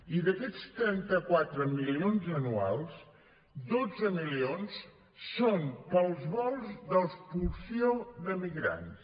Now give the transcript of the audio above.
i d’aquests trenta quatre milions anuals dotze milions són per als vols d’expulsió de migrants